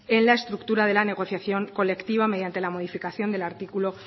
en la estructura de la negociación colectiva mediante la modificación del artículo